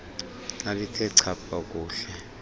lalithe chapha kuhle